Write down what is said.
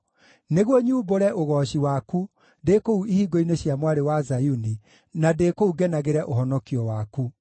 nĩguo nyumbũre ũgooci waku ndĩ kũu ihingo-inĩ cia Mwarĩ wa Zayuni, na ndĩ kũu ngenagĩre ũhonokio waku.